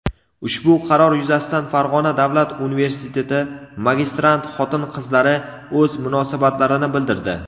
Ushbu qaror yuzasidan Farg‘ona davlat universiteti magistrant xotin-qizlari o‘z munosabatlarini bildirdi.